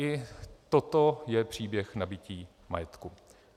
I toto je příběh nabytí majetku.